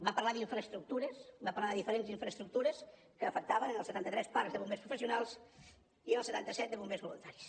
va parlar d’infraestructures va parlar de diferents infraestructures que afectaven els setanta tres parcs de bombers professionals i els setanta set de bombers voluntaris